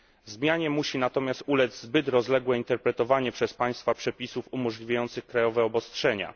Zmianie musi natomiast ulec zbyt rozległe interpretowanie przez państwa przepisów umożliwiających krajowe obostrzenia.